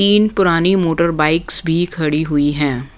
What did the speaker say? तीन पुरानी motor bikes भी खड़ी हुई हैं।